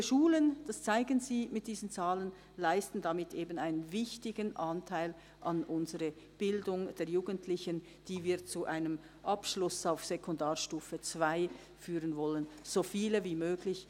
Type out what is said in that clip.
Diese Schulen – das zeigen sie mit diesen Zahlen – leisten damit eben einen wichtigen Anteil an unserer Bildung der Jugendlichen, die wir zu einem Abschluss auf Sekundarstufe II führen wollen, so viele wie möglich.